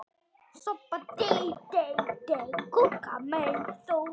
Þá var orðið áliðið dags.